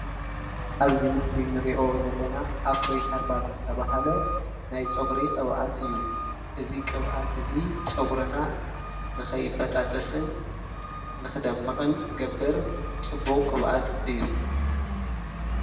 አብ አዚ ምስል አኒሪኦ ዘለና ኣፍሪሃርባል ዝተባሃለ ናይ ፀጉር ቅባኣት አዩ። አዚ ቅባኣት እዚ ፀጉርና ንከይባጣጠሰን ንክደምቅን ዝገብርፅ ቡቅ ቅባኣት እዩ።